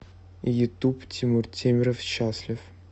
ютуб тимур темиров счастлив